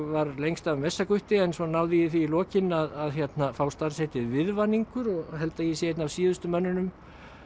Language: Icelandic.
var lengst af en svo náði ég því í lokin að fá starfsheitið viðvaningur og held að ég sé einn af síðustu mönnunum